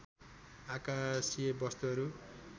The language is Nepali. आकाशीय वस्तुहरू